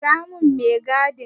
Kira mun mai gadi!